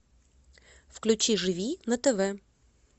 включи живи на тв